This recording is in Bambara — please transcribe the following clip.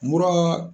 Mura